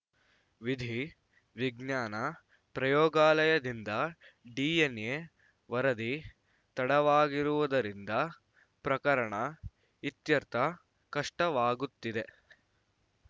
ವಿಧಿ ವಿಜ್ಞಾನ ಪ್ರಯೋಗಾಲಯದಿಂದ ಡಿಎನ್‌ಎ ವರದಿ ತಡವಾಗಿರುವುದರಿಂದ ಪ್ರಕರಣ ಇತ್ಯರ್ಥ ಕಷ್ಟವಾಗುತ್ತಿದೆ